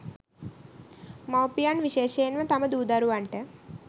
මව්පියන් විශේෂයෙන්ම තම දූ දරුවන්ට